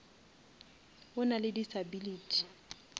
o nale disability